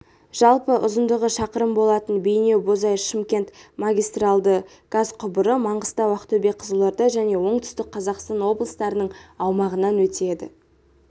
жалпы ұзындығы шақырым болатын бейнеу-бозой-шымкент магистралды газ құбыры маңғыстау ақтөбе қызылорда және оңтүстік қазақстан облыстарының аумағынан өтеді